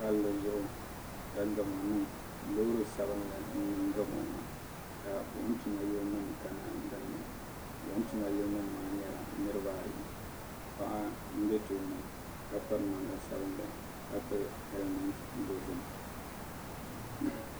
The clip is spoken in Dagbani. palli zuɣu ka gamu niŋ loori sabinli n niŋ gamu maa ka buɣim tuma yili nima ka dinni buɣum tuma yili nimmaa niriba ayi paɣa mbe tooni ka piri namda sabinli ka pili helimenti dozim.